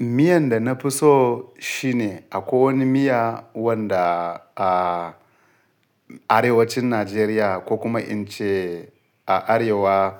Miyan da na fi so shine akwai wani miya wanda a arewacin Najeriya ko kuma in ce a arewa